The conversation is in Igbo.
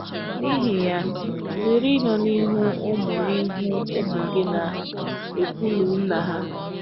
N’ihi ya, zere ịnọ n’ihu ụmụ n’ihu ụmụ gị na - ekwụlụ nna’ ha.